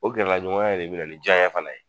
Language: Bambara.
O gɛrɛlaɲɔgɔnya de bɛ na ni jaɲɛ fana ye